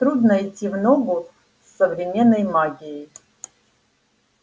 трудно идти в ногу с современной магией